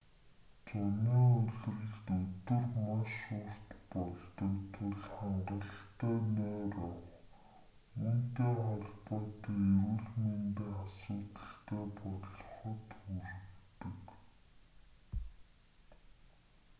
зуны улиралд өдөр маш урт болдог тул хангалттай нойр авах үүнтэй холбоотой эрүүл мэндийн асуудалтай болоход хүргэдэг